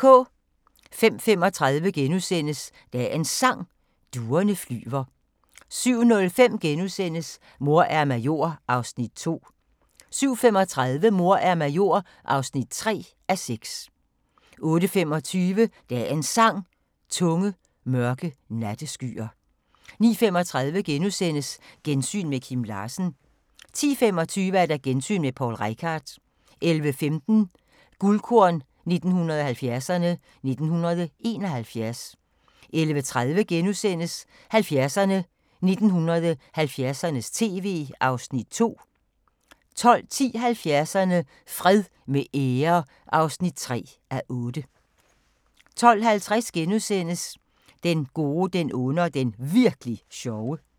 05:35: Dagens Sang: Duerne flyver * 07:05: Mor er major (2:6)* 07:35: Mor er major (3:6) 08:25: Dagens Sang: Tunge, mørke natteskyer 09:35: Gensyn med Kim Larsen * 10:25: Gensyn med Poul Reichhardt 11:15: Guldkorn 1970'erne: 1971 11:30: 70'erne: 1970'ernes tv (2:8)* 12:10: 70'erne: Fred med ære (3:8) 12:50: Den gode, den onde og den Virk'li sjove *